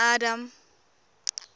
adam